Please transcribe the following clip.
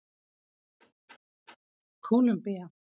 Kólumbía